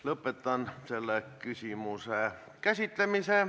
Lõpetan selle küsimuse käsitlemise.